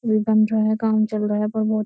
अभी बन रहा है। काम चल रहा है प्रोमो --